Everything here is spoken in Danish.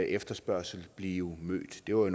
efterspørgsel blive mødt det var